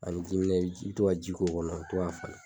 Ani jiminɛ i bi to ka ji k'o kɔnɔ, i bi to k'a falen